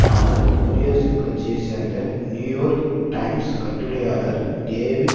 ஆனால் குடியரசுக் கட்சியை சேர்ந்த நியூயோர்க் டைம்ஸ் கட்டுரையாளர் டேவிட்